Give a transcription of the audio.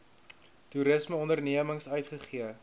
toerisme ondernemings uitgegee